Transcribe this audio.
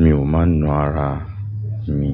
mi ò máa ń na ara mi.